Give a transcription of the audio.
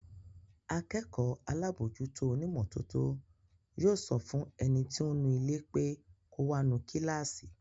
Akẹ́kọ̀ọ́ alábòójútó onímọ́tótó yóò sọ fún ẹni tí ó ń nu ilé pé kò wá nu kíláàsì